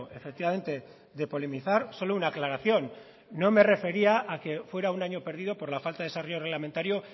efectivamente de polemizar solo una aclaración no me refería a que fuera un año perdido por la falta de desarrollo reglamentario